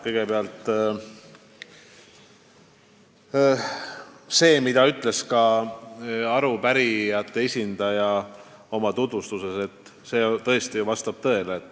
Kõigepealt: see, mida arupärijate esindaja oma tutvustuses ütles, vastab tõele.